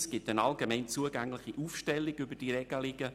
Es gibt eine allgemein zugängliche Aufstellung über diese Regelungen.